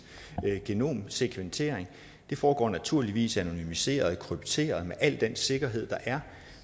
genomsekventering det foregår naturligvis anonymiseret og krypteret med al den sikkerhed der er